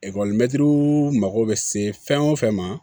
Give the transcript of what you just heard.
mago bɛ se fɛn o fɛn ma